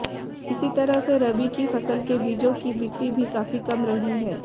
इसी तरह से रबी की फसल के बीजों की बिक्री भी काफी कम रही है